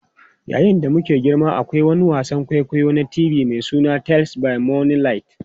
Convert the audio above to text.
Yayin da muke girma, akwai wani wasan kwaikwayo na TV mai suna Tales by Moonlight.